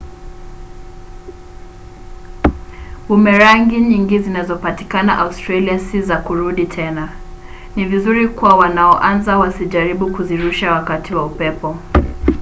bumerangi nyingi zinazopatikana australia si za kurudi tena. ni vizuri kwa wanaoanza wasijaribu kuzirusha wakati wa upepo